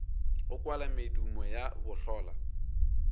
go kwala medumo ya bohlola